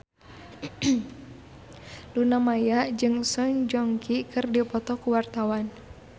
Luna Maya jeung Song Joong Ki keur dipoto ku wartawan